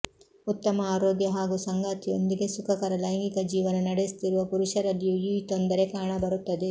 ಉತ್ತಮ ಆರೋಗ್ಯ ಹಾಗೂ ಸಂಗಾತಿಯೊಂದಿಗೆ ಸುಖಕರ ಲೈಂಗಿಕ ಜೀವನ ನಡೆಸುತ್ತಿರುವ ಪುರುಷರಲ್ಲಿಯೂ ಈ ತೊಂದರೆ ಕಾಣಬರುತ್ತದೆ